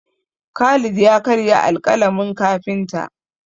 Khalid ya karya alƙalamin kafinta.